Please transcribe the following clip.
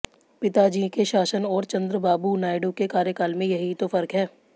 पिताजी के शासन और चंद्रबाबू नायडू के कार्यकाल में यही तो फर्क है